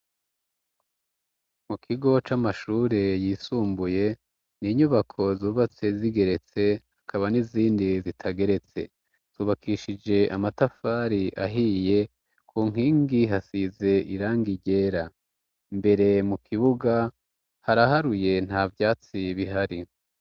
Mu kigo c'amashure yisumbuye n' inyubako zubatse zigeretse akaba n'izindi zitageretse zubakishije amatafari ahiye ,ku nkingi hasize irangi ryera, imbere mu kibuga ,haraharuye nta vyatsi bihari.